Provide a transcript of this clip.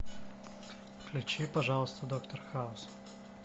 включи пожалуйста доктор хаус